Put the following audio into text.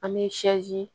An bɛ